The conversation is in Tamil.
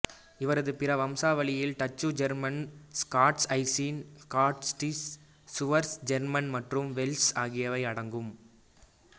இவரது பிற வம்சாவளியில் Dutch German Scots Irish Scottish Swiss German மற்றும் வெல்ஷ் ஆகியவையும் அடங்கும்